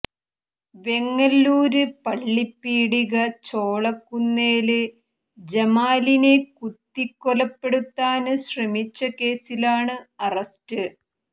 വെങ്ങല്ലൂര് പള്ളിപ്പീടിക ചോളക്കുന്നേല് ജമാലിനെ കുത്തിക്കൊലപ്പെടുത്താന് ശ്രമിച്ച കേസിലാണ് അറസ്റ്റ്